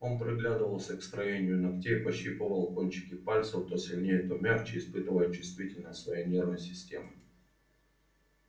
он приглядывался к строению ногтей пощипывал кончики пальцев то сильнее то мягче испытывая чувствительность своей нервной системы